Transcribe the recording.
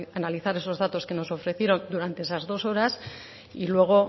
analizar esos datos que nos ofrecieron durante esas dos horas y luego